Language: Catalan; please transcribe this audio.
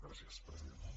gràcies presidenta